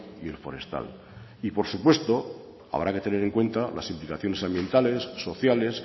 y el forestal y por supuesto habrá que tener en cuenta las implicaciones ambientales sociales